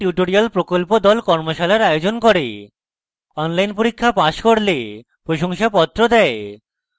spoken tutorial প্রকল্প the কর্মশালার আয়োজন করে অনলাইন পরীক্ষা পাস করলে প্রশংসাপত্র দেয়